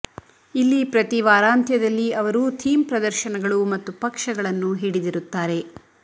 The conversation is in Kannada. ಇಲ್ಲಿ ಪ್ರತಿ ವಾರಾಂತ್ಯದಲ್ಲಿ ಅವರು ಥೀಮ್ ಪ್ರದರ್ಶನಗಳು ಮತ್ತು ಪಕ್ಷಗಳನ್ನು ಹಿಡಿದಿರುತ್ತಾರೆ